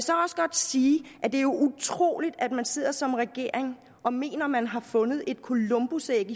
sige at det jo er utroligt at man sidder som regering og mener man har fundet et columbusæg